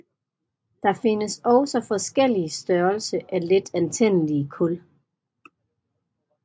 Der findes også forskellige størrelse af letantændelige kul